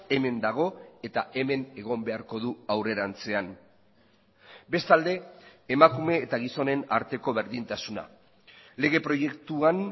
hemen dago eta hemen egon beharko du aurrerantzean bestalde emakume eta gizonen arteko berdintasuna lege proiektuan